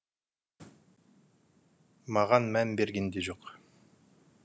маған мән берген де жоқ